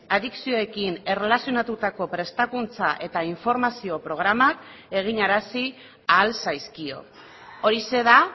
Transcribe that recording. adikzioekin erlazionatutako prestakuntza eta informazio programak eginarazi ahal zaizkio horixe da